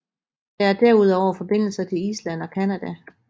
Der er derudover forbindelser til Island og Canada